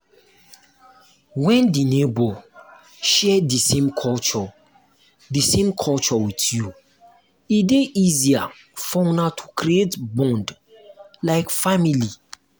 when di neighbour share di same culture di same culture with you e dey easier for una to creat bond like family